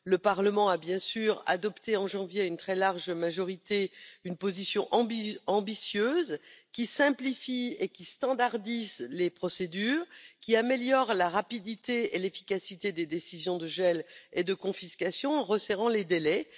Le Parlement a bien sûr adopté en janvier, à une très large majorité, une position ambitieuse qui simplifie et normalise les procédures, et qui améliore la rapidité et l'efficacité des décisions de gel et de confiscation en resserrant les délais.